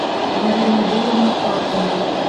марину юрьевну пашнину